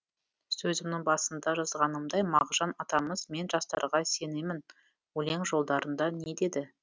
сөзімнің басында жазғанымдай мағжан атамыз мен жастарға сенемін өлең жолдарында не деді